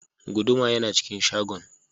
Guduma yana cikin shagon.